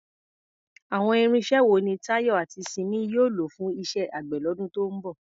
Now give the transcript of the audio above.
Àwọn irinṣẹ́ wo ni Tayo àti Simi yóò lò fún iṣẹ́ àgbẹ̀ lọ́dún tó ń bọ̀?